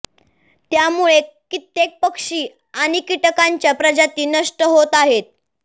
त्यामुळे कित्येक पक्षी आणि कीटकांच्या प्रजाती नष्ट होत आहेत